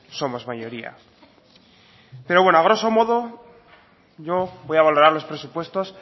somos mayoría pero bueno a groso modo yo voy a valorar los presupuestos